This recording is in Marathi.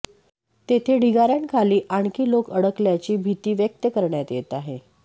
तेथे ढिगाऱ्यांखाली आणखी लोक अडकल्याची भीती व्यक्त करण्यात येत आहे